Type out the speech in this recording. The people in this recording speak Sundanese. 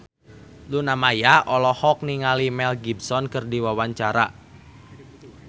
Luna Maya olohok ningali Mel Gibson keur diwawancara